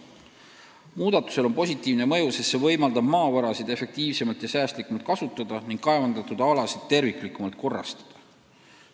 Muudatusel on positiivne mõju, sest see võimaldab maavarasid efektiivsemalt ja säästlikult kasutada ning kaevandatud alasid terviklikumalt korrastada.